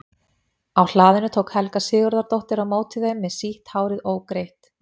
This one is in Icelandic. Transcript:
Á hlaðinu tók Helga Sigurðardóttir á móti þeim með sítt hárið ógreitt.